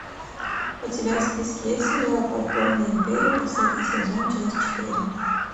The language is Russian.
у тебя в списке есть сериал подпольная империя последний сезон часть четыре